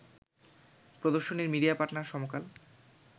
প্রদর্শনীর media partner সমকাল